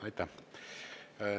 Aitäh!